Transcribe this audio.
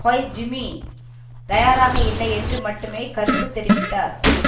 Koizumi தயாராக இல்லை என்று மட்டுமே கருத்து தெரிவித்தார்